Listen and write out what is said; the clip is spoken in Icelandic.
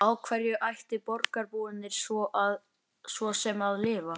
Páll Þorleifsson var framsækinn athafnamaður á staðnum.